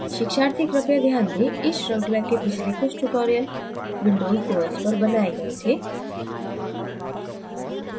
शिक्षार्थी कृपया ध्यान दें: इस शृंखला के पिछले कुछ tutorials windows os पर बनाए गए थे